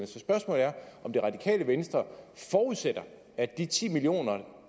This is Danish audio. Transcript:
så spørgsmålet er om det radikale venstre forudsætter at de ti million